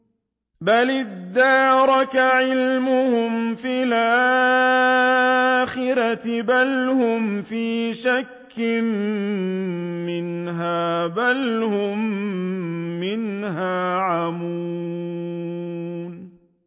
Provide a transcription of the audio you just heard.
بَلِ ادَّارَكَ عِلْمُهُمْ فِي الْآخِرَةِ ۚ بَلْ هُمْ فِي شَكٍّ مِّنْهَا ۖ بَلْ هُم مِّنْهَا عَمُونَ